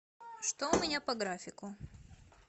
что у меня по графику